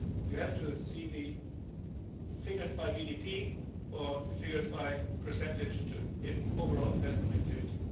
So you have to see the figures by GDP or the figures as a percentage of overall investment activity.